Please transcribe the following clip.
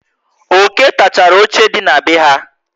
Oké takachara óche dị na be ha